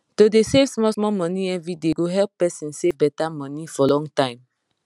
to dey save smallsmall money everyday go help person save better money for long time